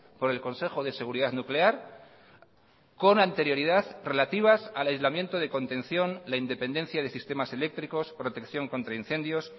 por el consejo de seguridad nuclear con anterioridad relativas al aislamiento de contención la independencia de sistemas eléctricos protección contra incendios